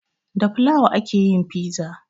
Da fulawa ake yin fiza